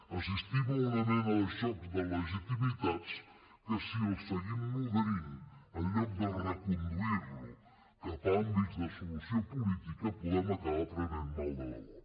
assistim a una mena de xoc de legitimitats que si el seguim nodrint en lloc de reconduir lo cap a àmbits de solució política podem acabar prenent mal de debò